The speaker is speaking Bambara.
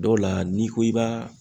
Dɔw la n'i ko i b'a